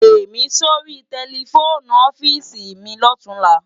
Pèmi sóri tèlèfóni òfisi mi lòtúnlá